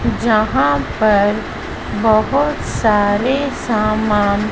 जहां पर बहोत सारे सामान--